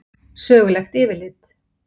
Sögulegt yfirlit.